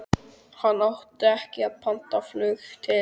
Hann átti ekki pantað flug til